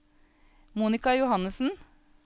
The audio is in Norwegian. Monika Johannessen